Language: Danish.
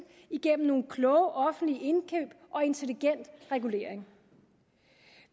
igennem nogle kloge offentlige indkøb og intelligent regulering